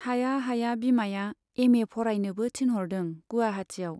हाया हाया बिमाया एमए फरायनोबो थिनहरदों गुवाहाटीयाव।